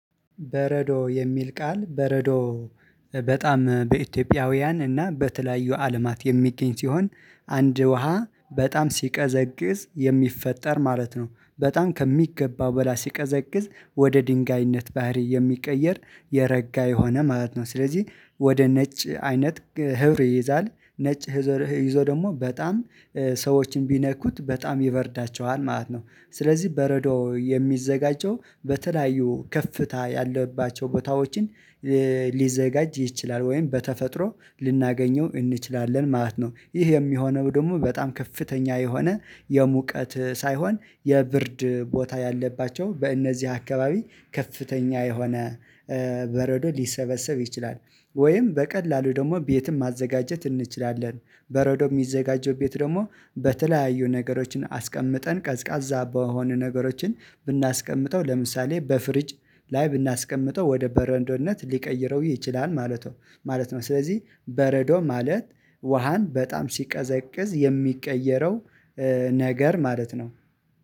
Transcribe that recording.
በረዶ የሚል ቃል በረዶ። በጣም በኢትዮጵያውያን እና በተለያዩ አለማት የሚገኝ ሲሆን አንድ ውሃ በጣም ሲቀዘቅዝ የሚፈጠር ማለት ነው። በጣም ከሚገባው በላይ ሲቀዘቅዝ ወደ ድንጋይነት ባህሪ የሚቀየር የረጋ የሆነ ማለት ነው። ስለዚህ ወደ ነጭ አይነት ህብር ይይዛል ነጭ ህብር ይዞ ደግሞ በጣም ሰዎችን ቢነኩት በጣም ይበርዳቸዋል ማለት ነው። ስለዚህ በረዶ የሚዘጋጀው በተለያዩ ከፍታ ያለባቸው ቦታዎችን ሊዘጋጅ ይችላል ወይም በተፈጥሮ ልናገኘው እንችላለን ማለት ነው። ይህ የሚሆነው ደግሞ በጣም ከፍተኛ የሆነ የሙቀት ሳይሆን የብርድ ቦታ ያለባቸው በእነዚህ አካባቢ ከፍተኛ የሆነ በረዶ ሊሰበሰብ ይችላል። ወይም በቀላሉ ደግሞ ቤትም ማዘጋጀት እንችላለን። በረዶ የሚዘጋጀው ቤት ደግሞ በተለያዩ ነገሮችን አስቀምጠን ቀዝቃዛ በሆኑ ነገሮችን ብናስቀምጠው ለምሳሌ በፍሪጅ ላይ ብናስቀምጠው ወደ በረዶነት ሊቀይረው ይችላል ማለቶ ማለት ነው። ስለዚህ በረዶ ማለት ውሃን በጣም ሲቀዘቅዝ የሚቀየረው ነገር ማለት ነው